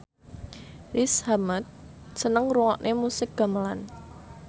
Riz Ahmed seneng ngrungokne musik gamelan